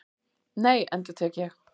Nei, endurtek ég.